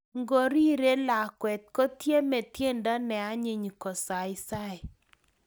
Ngorirei lakwet, kotiemei tiendo ne anyiny kosaisai